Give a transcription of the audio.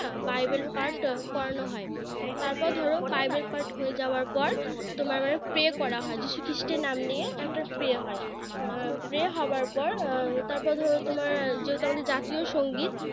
না বাইবেল পাঠ করানো হয় তারপর ধরো বাইবেল পাঠ হয়ে যাওয়ার পর তোমার মানে Pray করা হয় যীশু খ্রিস্টের নাম নিয়ে একটা Pray হয় উম Pray হওয়ার পর উম তারপর ধরো তোমার যেহেতু আমাদের জাতীয় সংগীত